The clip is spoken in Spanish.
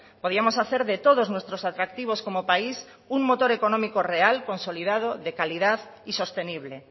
podíamos hacer de todos nuestros atractivos como país un motor económico real consolidado de calidad y sostenible